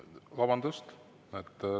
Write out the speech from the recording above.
Vabandust!